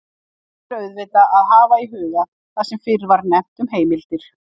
Hér ber auðvitað að hafa í huga það sem fyrr var nefnt um heimildir.